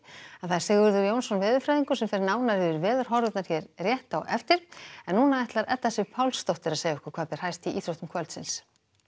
Sigurður Jónsson veðurfræðingur fer nánar yfir veðurhorfurnar hér rétt á eftir en nú ætlar Edda Sif Pálsdóttir að segja okkur hvað ber hæst í íþróttum kvöldsins